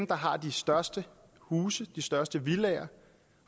der har de største huse de største villaer